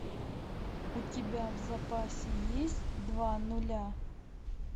у тебя в запасе есть два нуля